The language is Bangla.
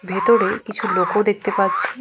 ভেতরে কিছু লোক ও দেখতে পাচ্ছি।